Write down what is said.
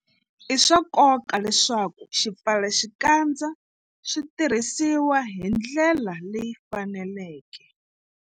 I swa nkoka leswaku swipfalaxikandza swi tirhisiwa hi ndlela leyi faneleke.